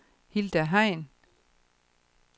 Hilda Hein